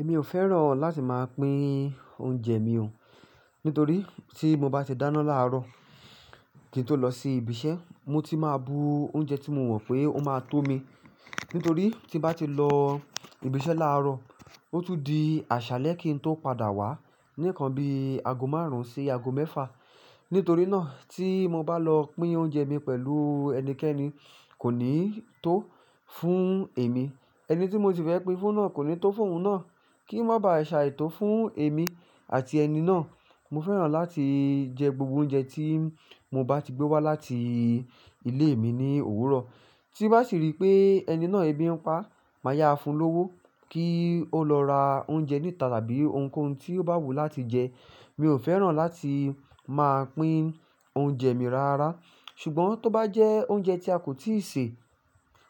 Èmi ò fẹ́ràn láti máa pín oúnjẹ mi o. Nítorí tí mo bá ti dáná láàárọ̀ kí n tó lọ sí ibi iṣẹ́, mo ti máa bu oúnjẹ tí mo mọ̀ pé ó máa tó mi. Nítorí tí bá ti lọ ibi iṣẹ́ láàárọ̀, ó tún di àṣálẹ́ kí n tó padà wá. Ní ìkan bí ago márùn-ún sí ago mẹ́fà. Nítorí náà tí mo bá lọ pín oúnjẹ mi pẹ̀lú ẹnikẹ́ni kò ní tó fún èmi. Ẹni tí mo ti fẹ́ pín fún náà kò ní tó fún òun náà. Kí ó má ba à ṣàìtò fún èmi àti ẹni náà. Mo fẹ́ràn láti jẹ gbogbo oúnjẹ tí mo bá ti gbé wá láti ilé mi ní òwúrọ̀. Tí bá sì rí pé ẹni náà ẹbí ń pa, màá yáá fún un lówó kí ó lọ ra oúnjẹ níta tàbí ohunkóhun tí ó bá wù ú láti jẹ. Mi ò fẹ́ràn láti máa pín oúnjẹ mi rara. Ṣùgbọ́n tó bá jẹ́ oúnjẹ tí a kò tíì sè,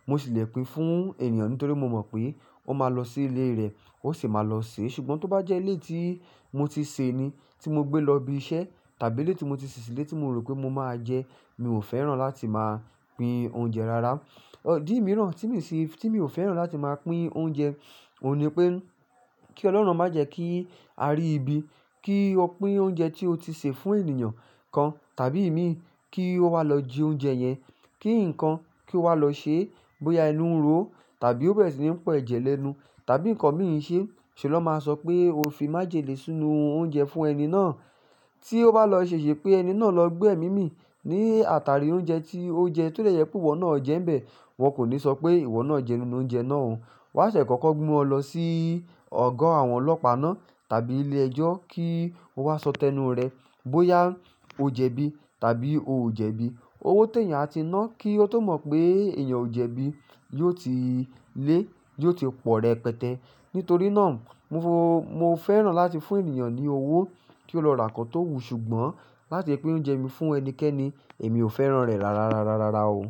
mo ṣì lè pín fún ènìyàn nítorí mo mọ̀ pé ó máa lọ sí ilé rẹ̀ ó sì máa lọ sè é. Ṣùgbọ́n tó bá jẹ́ ilé tí mo ti sè ni tí mo gbé lọ ibi iṣẹ́ tàbí ilé tí mo ti ṣè ṣì lé tí mo rò pé mo máa jẹ, mi ò fẹ́ràn láti máa pín oúnjẹ rara. Idí mìíràn tí mi ò fẹ́ràn láti máa pín oúnjẹ, òun ni pé kí Ọlọ́run má jẹ́ kí a rí ibi kí o pín oúnjẹ tí o ti sè fún ènìyàn kan tàbí imí kí ó wá lọ jẹ oúnjẹ yẹn. Kí nǹkan kí ó wá lọ ṣe bóyá ẹnu ń ro ó tàbí ó bẹ̀rẹ̀ sí ní po ẹ̀jẹ̀ lẹ́nu tàbí nǹkan mìí n ṣe. Ṣe ló máa sọ pé o fi májèlé sínú oúnjẹ fún ẹni náà tí ó bá lọ ṣèṣe pé ẹni náà lọ gbẹ́ ẹmi mi ní àtàrí oúnjẹ tí ó jẹ, ti o jẹ́ pé ìwọ náà jẹ́ ń bẹ̀, wọn kò ní sọ pé ìwọ náà jẹ nínú oúnjẹ náà o. Wọ́n á tiẹ̀ kọ́kọ́ mu o lọ sí ọ̀gọ́ àwọn ọlọ́pàá náà tàbí ilé ẹjọ́ kí ó wá sọ tẹnu rẹ̀ bóyá ó jẹbí tàbí ò jẹbí. Owó tẹ̀yàn a ti ná kí ó tó mọ̀ pé èèyàn ò jẹbí, yóò ti lé, yóò ti pọ̀ rẹ̀ pẹtẹ. Nítorí náà mo fẹ́ràn láti fún ènìyàn ní owó kí ó lọ ra nǹkan tó wù ú ṣùgbọ́n láti pín oúnjẹ mi fún ẹnikẹ́ni èmi ò fẹ́ràn rẹ̀ rárá o.